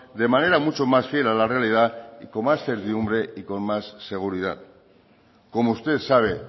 de manera mucho más fiel a la realidad con más servidumbre y con más seguridad como usted sabe